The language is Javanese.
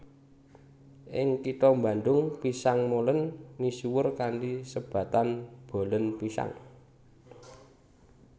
Ing kitha Bandung pisang molen misuwur kanthi sebatan bolen pisang